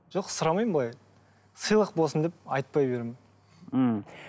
жоқ сұрамаймын былай сыйлық болсын деп айтпай беремін ммм